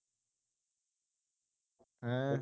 ਹੈ